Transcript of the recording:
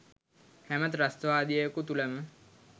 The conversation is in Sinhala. හැම ත්‍රස්තවාදියෙකු තුලම